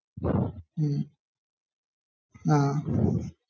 ഹാ